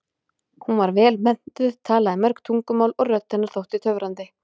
Hún var vel menntuð, talaði mörg tungumál og rödd hennar þótti töfrandi.